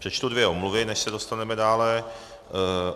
Přečtu dvě omluvy, než se dostaneme dále.